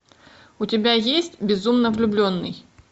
у тебя есть безумно влюбленный